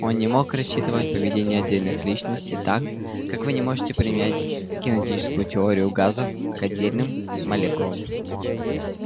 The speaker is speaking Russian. он не мог рассчитывать поведение отдельных личностей так как вы не можете применить кинетическую теорию газов к отдельным молекулам